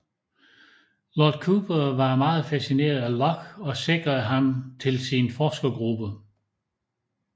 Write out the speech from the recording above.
Lord Cooper var meget fascineret af Locke og sikrede ham til sin forskergruppe